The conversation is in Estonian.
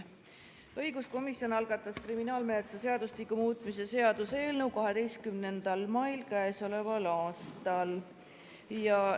Õiguskomisjon algatas kriminaalmenetluse seadustiku muutmise seaduse eelnõu k.a 12. mail.